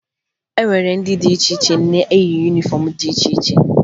E nwere ndị dị iche iche na-eyi yunifọmụ dị iche iche